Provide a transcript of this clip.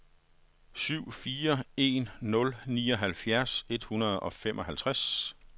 syv fire en nul nioghalvfjerds et hundrede og femoghalvtreds